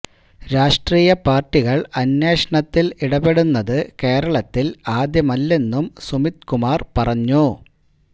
രാഷ്ട്രീയ പാർട്ടികൾ അന്വേഷണത്തിൽ ഇടപെടുന്നത് കേരളത്തിൽ ആദ്യമല്ലെന്നും സുമിത് കുമാർ പറഞ്ഞു